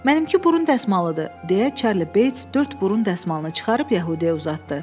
Mənimki burun dəsmalıdır, deyə Çarli Beys dörd burun dəsmalını çıxarıb yəhudiyə uzatdı.